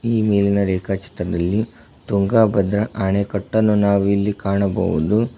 ಈ ಮೇಲಿನ ರೇಖ ಚಿತ್ರದಲ್ಲಿ ತುಂಗಾ ಭದ್ರ ಅಣೆಕಟ್ಟನ್ನು ನಾವು ಇಲ್ಲಿ ಕಾಣಬಹುದು.